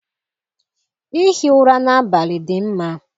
Ihi ụra n'abalị dị mma.